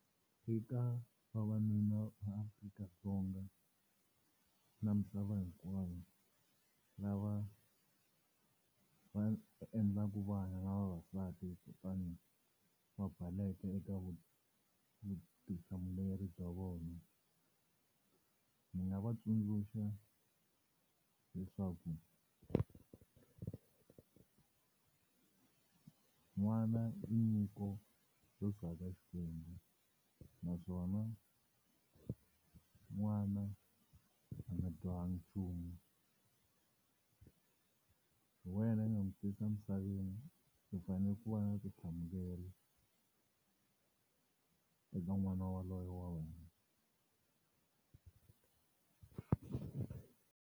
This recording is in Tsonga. Eka vavanuna va Afrika-Dzonga na misava hinkwayo lava va endlaka vana na vavasati kutani va baleka eka vutihlamuleri bya vona ni nga va tsundzuxa leswaku n'wana i nyiko yo suka eka xikwembu naswona n'wana a nga dyohanga nchumu hi wena u nga ni tisa emisaveni u fanele ku va na vutihlamuleri eka n'wana wa wena.